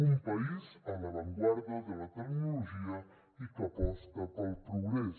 un país a l’avantguarda de la tecnologia i que aposta pel progrés